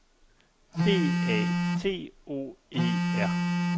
D A T O E R